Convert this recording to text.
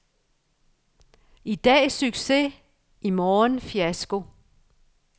I dag succes, i morgen fiasko.